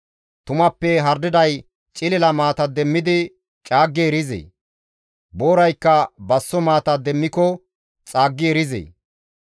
Tumappe hardiday cilila maata demmidi caaggi erizee? Booraykka basso maata demmiko xaaggi erizee?